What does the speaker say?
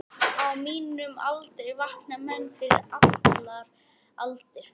Á mínum aldri vakna menn fyrir allar aldir.